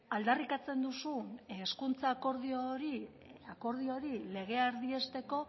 aldarrikatzen duzun hezkuntza akordio hori legea erdiesteko